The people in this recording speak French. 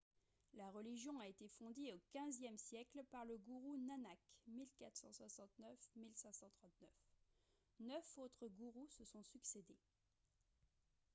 la religion a été fondée au xve siècle par le gourou nanak 1469-1539. neuf autres gourous se sont succédés